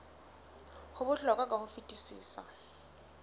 ho bohlokwa ka ho fetisisa